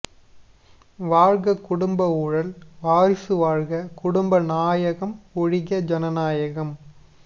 வாழ்க குடும்ப ஊழல் வாரிசு வாழ்க குடும்ப நாயகம் ஒழிக ஜனநாயகம்